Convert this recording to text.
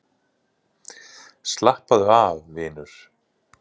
Slappaðu af, vinur.